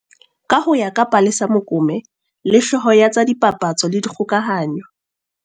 Ka ho ya ka Palesa Mokome le, hlooho ya tsa dipapatso le dikgokahanyo